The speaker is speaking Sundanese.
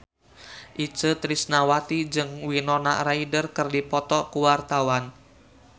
Itje Tresnawati jeung Winona Ryder keur dipoto ku wartawan